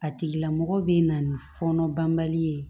A tigila mɔgɔ bɛ na ni fɔɔnɔ banbali ye